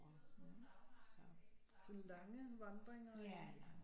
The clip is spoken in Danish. Sådan lange vandringer eller